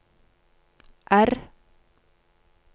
R